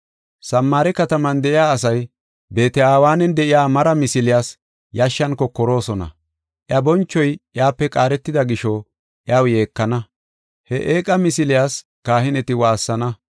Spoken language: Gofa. Samaare kataman de7iya asay Beet-Aweenan de7iya mara misiliyas yashshan kokoroosona. Iya bonchoy iyape qaaretida gisho iyaw yeekana; he eeqa misiliya kahineti waassana.